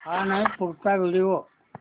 हा नाही पुढचा व्हिडिओ